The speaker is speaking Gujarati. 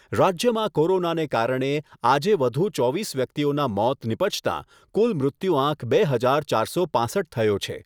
રાજ્યમાં કોરોનાને કારણે આજે વધુ ચોવીસ વ્યક્તિઓના મોત નિપજતાં કુલ મૃત્યુઆંક બે હજાર ચારસો પાંસઠ થયો છે.